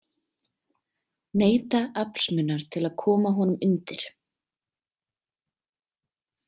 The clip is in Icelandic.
Neyta aflsmunar til að koma honum undir.